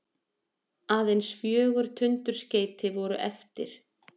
Aðeins fjögur tundurskeyti voru eftir.